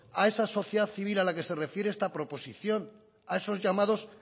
a esa sociedad civil a la que se refiere esta proposición a esos llamados